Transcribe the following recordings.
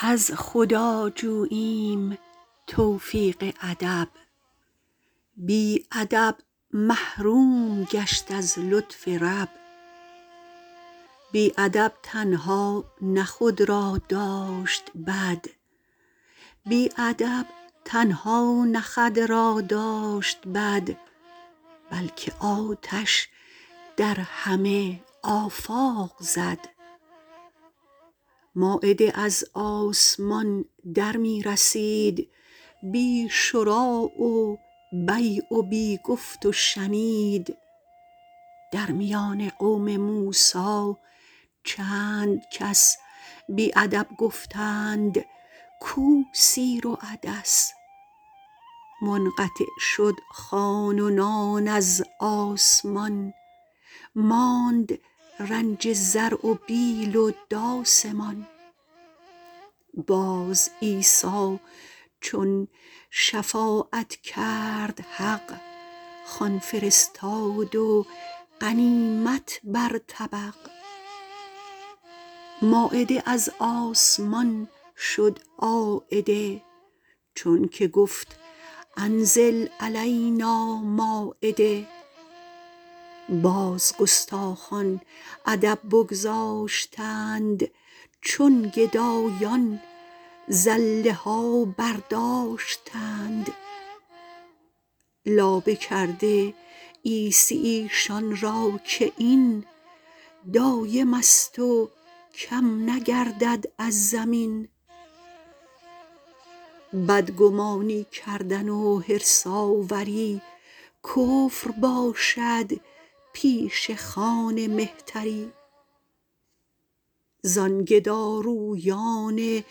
از خدا جوییم توفیق ادب بی ادب محروم گشت از لطف رب بی ادب تنها نه خود را داشت بد بلکه آتش در همه آفاق زد مایده از آسمان در می رسید بی شری و بیع و بی گفت و شنید در میان قوم موسی چند کس بی ادب گفتند کو سیر و عدس منقطع شد خوان و نان از آسمان ماند رنج زرع و بیل و داس مان باز عیسی چون شفاعت کرد حق خوان فرستاد و غنیمت بر طبق مایده از آسمان شد عایده چون که گفت انزل علینا مایده باز گستاخان ادب بگذاشتند چون گدایان زله ها برداشتند لابه کرده عیسی ایشان را که این دایمست و کم نگردد از زمین بدگمانی کردن و حرص آوری کفر باشد پیش خوان مهتری زان گدارویان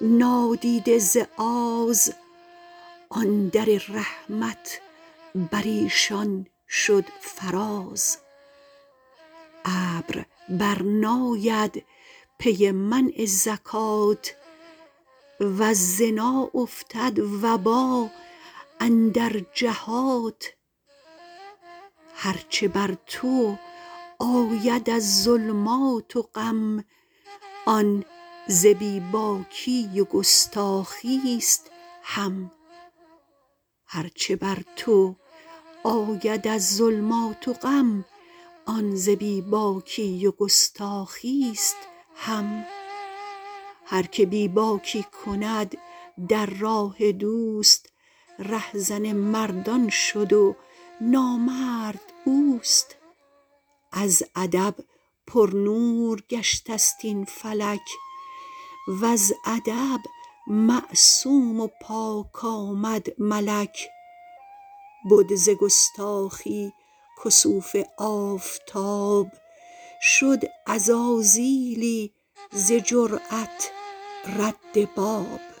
نادیده ز آز آن در رحمت بریشان شد فراز ابر بر ناید پی منع زکات وز زنا افتد وبا اندر جهات هر چه بر تو آید از ظلمات و غم آن ز بی باکی و گستاخیست هم هر که بی باکی کند در راه دوست ره زن مردان شد و نامرد اوست از ادب پرنور گشته ست این فلک وز ادب معصوم و پاک آمد ملک بد ز گستاخی کسوف آفتاب شد عزازیلی ز جرات رد باب